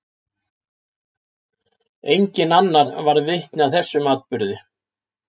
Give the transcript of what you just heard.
Enginn annar varð vitni að þessum atburði.